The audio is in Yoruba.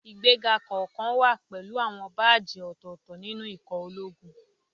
Ìgbéga kọ̀ọ̀kan wá pẹ̀lú àwọn báàjì ọ̀tọ̀ọ̀tọ̀ nínú ikọ̀ ológun